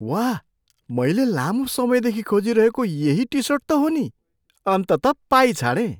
वाह! मैले लामो समयदेखि खोजिरहेको यही टिसर्ट त हो नि। अन्ततः पाइछाडेँ।